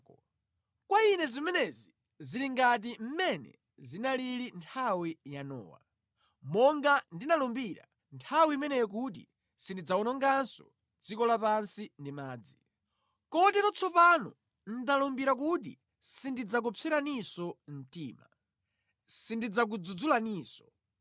“Kwa ine zimenezi zili ngati mmene zinalili mʼnthawi ya Nowa. Monga ndinalumbira nthawi imeneyo kuti sindidzawononganso dziko lapansi ndi madzi. Kotero tsopano ndalumbira kuti sindidzakupseraninso mtima, sindidzakudzudzulaninso.